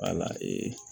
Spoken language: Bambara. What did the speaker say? Wala